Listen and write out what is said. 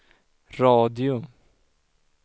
radio